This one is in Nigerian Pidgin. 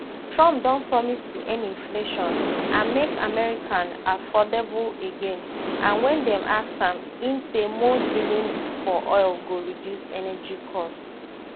trumpdon promise to end inflation and make america affordable again and wen dem ask am im say more drilling for oil go reduce energy costs